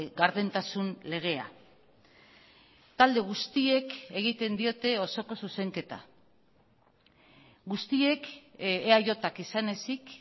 gardentasun legea talde guztiek egiten diote osoko zuzenketa guztiek eajk izan ezik